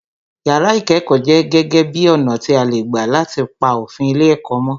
Yàrá ìkẹ́kọ̀ọ jẹ́ gege bi ọ̀nà tí a lè gbà láti pa òfin ilé ẹ̀kọ́ mó